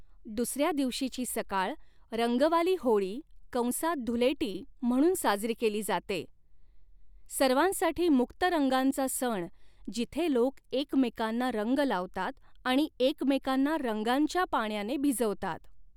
दुसऱ्या दिवशीची सकाळ रंगवाली होळी कंसात धुलेटी म्हणून साजरी केली जाते. सर्वांसाठी मुक्त रंगांचा सण, जिथे लोक एकमेकांना रंग लावतात आणि एकमेकांना रंगांच्या पाण्याने भिजवतात.